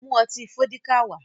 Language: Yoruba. Mu ọtí Fọ́díkà wá!